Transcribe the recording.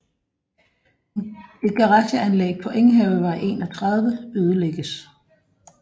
Et garageanlæg på Enghavevej 31 ødelægges